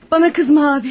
Bana kızma abi.